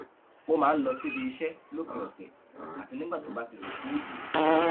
ó máa ń lọ síbi iṣẹ lópin ọsẹ àti nígbà tó bá ti ṣùkùú dé